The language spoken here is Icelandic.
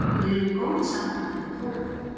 Við erum í góðu sambandi við Tógó.